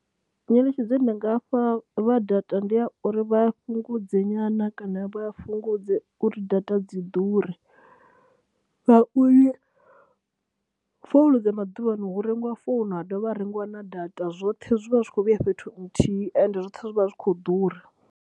Nyeletshedzo ine ndi nga fha vha data, ndi ya uri vha fhungudze nyana kana vha fhungudze uri data dzi ḓure ngauri founu dza maḓuvha ano hu rengiwa founu ha dovha ha rengiwa na data, zwoṱhe zwi vha zwi khou vhuya fhethu huthihi ende zwoṱhe zwi vha zwi khou ḓura.